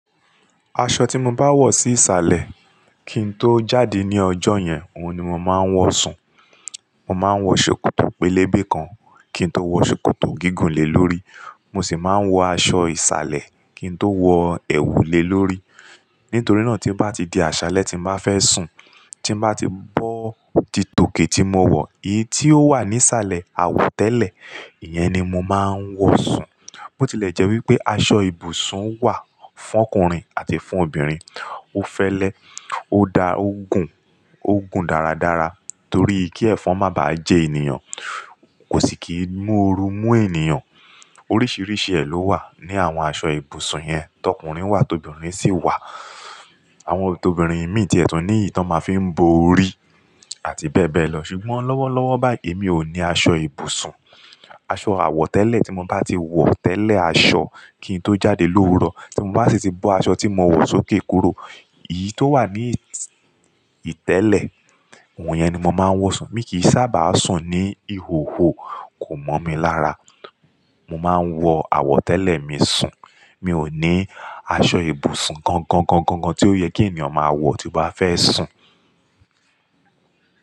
Aṣọ tí mo bá wọ̀ sí ìsàlẹ̀ kí n tó jáde ní ọjọ́ yẹn, òun ni mo máa ń wọ sùn. Mo máa ń wọ ṣòkòtò pélébé kan kí n tó wọ ṣòkòtò gígùn lè lórí. Mo sì máa ń wọ aṣọ ìsàlẹ̀ kí n tó wọ èwùlè lórí. Nítorí náà tí bá ti di àṣalẹ tí mo bá fẹ́ sùn, tí bá ti bọ́ titòkè tí mo wọ̀, èyí tí ó wà ní ìsàlẹ̀ àwọ̀ tẹ́lẹ̀, ìyẹn ni mo máa ń wọ sùn. Ó tilẹ̀ jẹ́ wí pé aṣọ ibùsùn wà fún ọkùnrin àti fún obìnrin. Ó fẹ́lẹ́, ó da o gun, ó gun dáradára torí kí ẹ̀fọn má bá jẹ ènìyàn, kò sì kí múru mú ènìyàn. Oríṣiríṣi ẹ̀ ló wà ní àwọn aṣọ ibùsùn yẹn, tọkùnrin wà, tobìnrin sì wà. Àwọn t'obìnrin míì tí ẹ̀tùní ìtọ́ ma fi ń bo orí àti bẹ́ẹ̀ bẹ́ẹ̀ lọ. Ṣùgbọ́n lọ́wọ́lọ́wọ́ báyìí mi ò ní aṣọ ibùsùn. Aṣọ àwọ̀ tẹ́lẹ̀ tí mo bá ti wọ̀ tẹ́lẹ̀ aṣọ kí n tó jáde lówuro, tí mo bá sì ti bọ́ aṣọ tí mo wọ̀ sókè kúrò, èyí tó wà ní ìtẹ́lẹ̀, òun yẹn ni mo máa ń wọ sùn. Mi kì í sábà sùn ní ìhòhò, kò mọ̀ mi lára. Mo máa ń wọ àwọ̀ tẹ́lẹ̀ mi sùn. Mi ò ní aṣọ ibùsùn kan kan kan kan kan tí ó yẹ kí ènìyàn máa wọ̀ tí ó bá fẹ́ sùn.